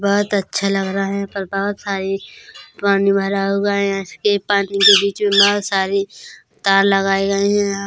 बोहोत अच्छा लग रहा है यहां पे बोहोत सारे पानी भरा हुआ है इसके पानी के पीछे बोहोत सारी तार लगाए गए है।